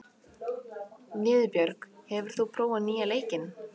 Niðbjörg, hefur þú prófað nýja leikinn?